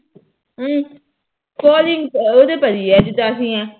ਹਮ calling ਉਹਦੇ ਪਰ ਹੀ ਏ ਜਿਦਾ ਅਸੀ ਆ